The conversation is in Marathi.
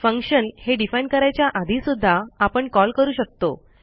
फंक्शन हे defineकरायच्या आधी सुध्दा आपण कॉल करू शकतो